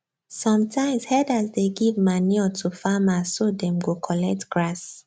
sometimes herders dey give manure to farmer so them go collect grass